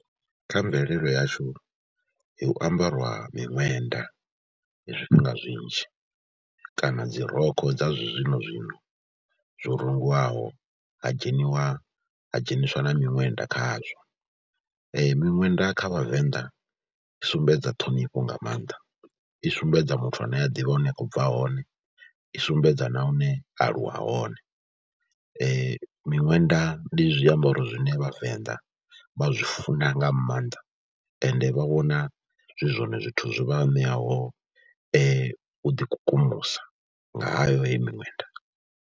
Kha mvelelo yashu hu ambariwa miṅwenda zwifhinga zwinzhi kana dzi rokho dza zwinozwino zwo rungiwaho, ha dzheniwa ha dzheniswa na miṅwenda khazwo. Miṅwenda kha Vhavenḓa i sumbedza ṱhonifho nga maanḓa, i sumbedza muthu ane a ḓivha hune a khou bva hone, i sumbedza na hune a aluwa hone. Miṅwenda ndi zwiambaro zwine Vhavenḓa vha zwi funa nga maanḓa ende vha vhona zwi zwone zwithu zwo vha ṋeaho u ḓikukumusa, ngayo heyi miṅwenda.